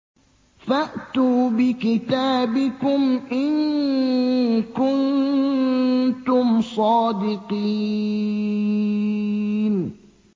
فَأْتُوا بِكِتَابِكُمْ إِن كُنتُمْ صَادِقِينَ